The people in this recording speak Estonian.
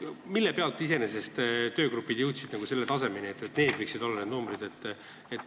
Kuidas iseenesest töögrupid jõudsid selleni, et need võiksid olla just sellised numbrid?